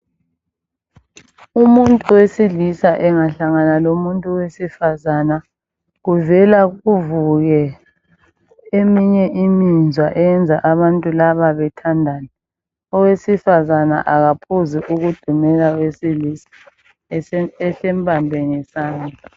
Umuntu wesilisa engahlangana lomuntu wesifazana kuvela kuvuke eminye imizwa eyenza abantu laba bethandane owesifazana akaphuzi ukudumela owesilisa ehle embambe ngesandla.